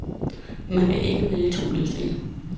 Man kan ikke vælge to løsninger.